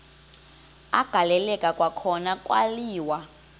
agaleleka kwakhona kwaliwa